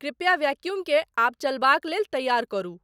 कृपया वैक्यूमकें आब चलयक लेल तैयार करू।